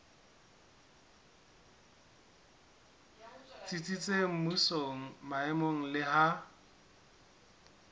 tsitsitseng mmusong maemong le ha